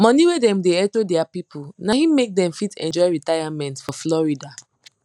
money wey dem da hecho dia people naim make dem fit enjoy retirement for florida